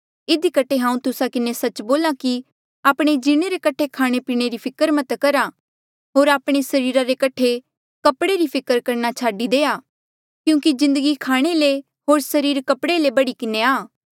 इधी कठे हांऊँ तुस्सा किन्हें सच्च बोल्हा कि आपणे जीणे रे कठे खाणेपीणे फिकर मत करा होर आपणे सरीरा रे कठे कपड़े री फिकर छाडी देआ क्यूंकि जिन्दगी खाणे ले होर सरीर कपड़े ले बढ़ी किन्हें हाया